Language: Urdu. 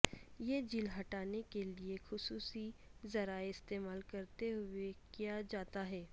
یہ جیل ہٹانے کے لئے خصوصی ذرائع استعمال کرتے ہوئے کیا جاتا ہے